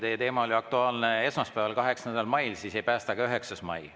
Kui teie teema oli aktuaalne esmaspäeval, 8. mail, siis ei päästa ka 9. mai.